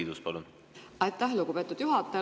Aitäh, lugupeetud juhataja!